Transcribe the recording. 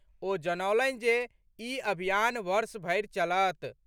ओ जनौलनि जे ई अभियान वर्ष भरि चलत।